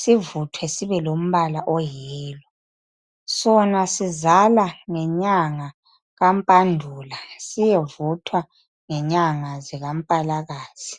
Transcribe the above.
sivuthwe sibelombala oyiyellow. Sona sizala ngenyanga kaMpandula siyevuthwa ngenyanga zikaMpalakazi.